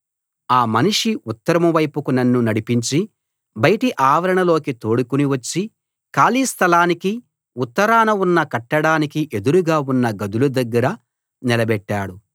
ఆ మనిషి ఉత్తరం వైపుకు నన్ను నడిపించి బయటి ఆవరణలోకి తోడుకుని వచ్చి ఖాళీ స్థలానికీ ఉత్తరాన ఉన్న కట్టడానికీ ఎదురుగా ఉన్న గదుల దగ్గర నిలబెట్టాడు